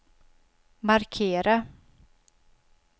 markera